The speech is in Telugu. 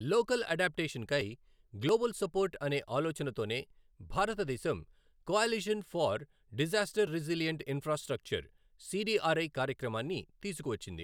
లోకల్ అడాప్టేషన్ కై గ్లోబల్ సపోర్ట్ అనే ఆలోచన తోనే భారతదేశం coalition for disaster resilient infrastructure CDRI కార్యక్రమాన్ని తీసుకువచ్చింది.